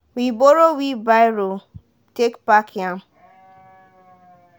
we borrow wheelbarrow take pack yam.